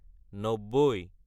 নব্বৈ